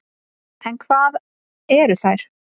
En hvað eru þær?